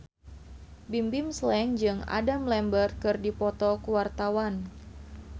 Bimbim Slank jeung Adam Lambert keur dipoto ku wartawan